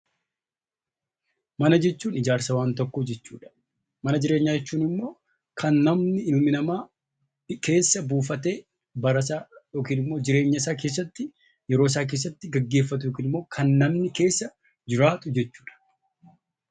Mana jechuun ijaarsa waan tokkoo jechuudha. Mana jireenyaa jechuun immoo kan namni, ilmi namaa keessa buufatee barasaa yookiin immoo jireenya isaa keessatti, yeroo isaa keessatti gaggeeffatu yookiin immoo kan namni keessa jiraatu jechuudha.